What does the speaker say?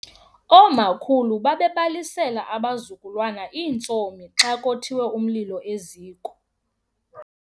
Oomakhulu babebalisela abazukulwana iintsomi xa kothiwe umlilo eziko.